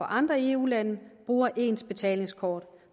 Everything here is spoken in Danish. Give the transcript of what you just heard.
andre eu lande bruger ens betalingskort